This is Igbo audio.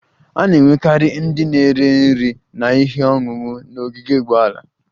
A na-enwekarị ndị na-ere nri na ihe ọṅụṅụ n'ogige ụgbọala